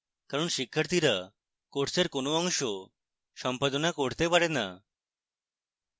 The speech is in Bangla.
কারণ শিক্ষার্থীরা কোর্সের কোনো অংশ সম্পাদনা করতে পারে না